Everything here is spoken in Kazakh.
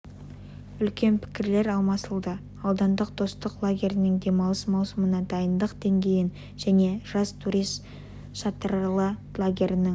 үлкен пікірлер алмасылды аудандық достық лагерінің демалыс маусымына дайындық деңгейін және жас турист шатырлы лагерінің